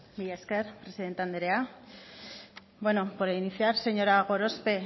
mila esker presidente andrea bueno por iniciar señora gorospe